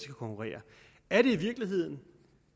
konkurrere er det i virkeligheden